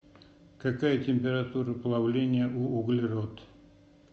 какая температура плавления у углерод